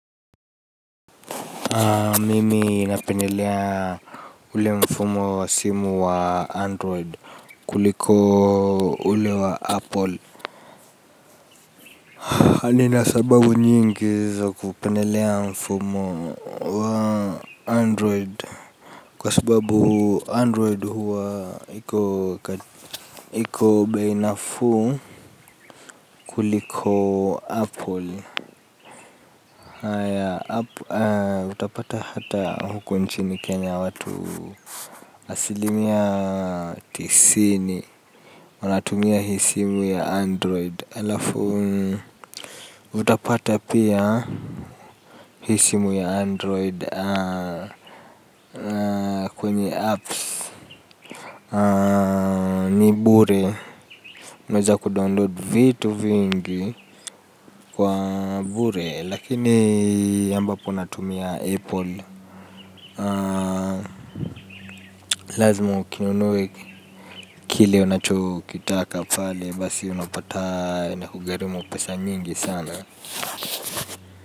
Mimi ninapendelea ule mfumo wa simu wa android kuliko ule wa apple nina sababu nyingi za kupendelea mfumo android kwa sababu android huwa hiko hiko bei nafuu kuliko apple utapata hata huku nchini kenya watu asilimia tisini wanatumia simu ya android. Utapata pia. Hii simu ya android kwenye apps ni bure. Unajua kudownload vitu vingi kwa bure. Lakini ambapo unatumia apple lazima ukinunue kile unacho kitaka pale. Basi unapata iNakugharimu pesa nyingi sana. Kwa hivyo.